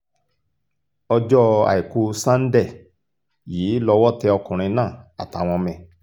ọjọ́ àìkú sànńdẹ yìí lọ́wọ́ tẹ ọkùnrin náà àtàwọn ọmọ ẹ̀